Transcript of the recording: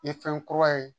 I ye fɛn kura ye